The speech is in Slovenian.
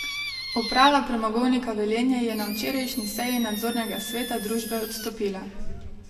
Uprava Premogovnika Velenje je na včerajšnji seji nadzornega sveta družbe odstopila.